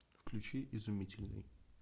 включи изумительный